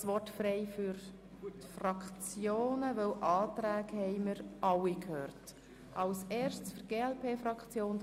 Ich erteile nun den Fraktionen das Wort, nachdem alle Planungserklärungen begründet worden sind.